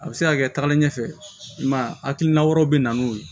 A bɛ se ka kɛ tagalen ɲɛfɛ i ma ye a hakilina wɛrɛw bɛ na n'o ye